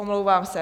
Omlouvám se.